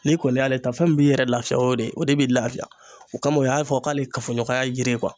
N'i kɔni y'ale ta fɛn min b'i yɛrɛ lafiya o de o de bi lafiya o kama u y'a fɔ k'ale ye kafoɲɔgɔnya yiri kuwa